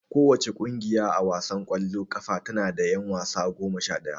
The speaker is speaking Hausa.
Kowace ƙungiya a wasan ƙwallon ƙafa tana da ƴan wasa goma sha ɗaya.